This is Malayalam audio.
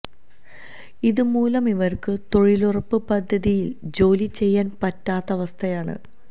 ഇതുമൂലം ഇവര്ക്ക് തൊഴിലുറപ്പ് പദ്ധതിയില് ജോലി ചെയ്യാന് പറ്റാത്ത അവസ്ഥയാണ്